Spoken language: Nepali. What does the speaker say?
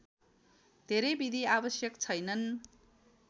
धेरै विधि आवश्यक छैनन्